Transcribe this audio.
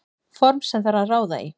Form sem þarf að ráða í.